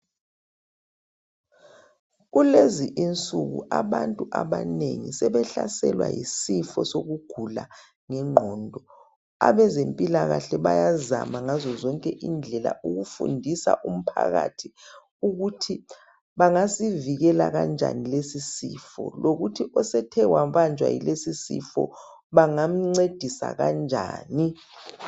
Kulezi insuku abantu abanengi sebehlaselwa yisifo sokugula ngengqondo abezempilakahle bayazama ngazozonke indlela ukufundisa umphakathi ukuthi bengasivikela kanjani lesisifo lokuthi osethe wabanjwa yilesisifo bangamncedisa kanjani